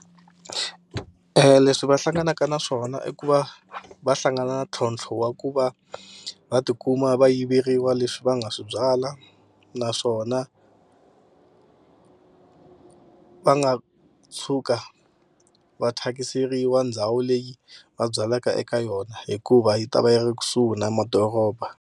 Leswi va hlanganaka na swona i ku va va hlangana na ntlhontlho wa ku va va tikuma va yiveriwa leswi va nga swi byala naswona va nga tshuka va thyakiseriwa ndhawu leyi va byalaka eka yona hikuva yi ta va yi ri kusuhi na madoroba.